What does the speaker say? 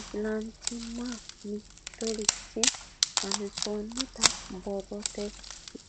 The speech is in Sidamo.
Islanchimma mitirichi hansoonnita borrote